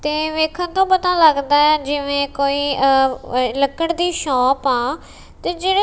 ਤੇ ਵੇਖਣ ਨੂੰ ਪਤਾ ਲੱਗਦਾ ਜਿਵੇਂ ਕੋਈ ਅ ਵ ਲੱਕੜ ਦੀ ਸ਼ੋਪ ਆ ਤੇ ਜਿਹੜੇ--